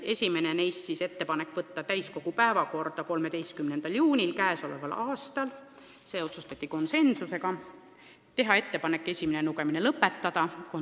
Esimene neist oli ettepanek võtta eelnõu täiskogu päevakorda 13. juunil ja esimene lugemine lõpetada.